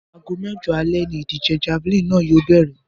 Aago mé̩jo̩ alé̩ ni ìdíje̩ javelin náà yóò bè̩rè̩